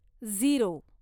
zero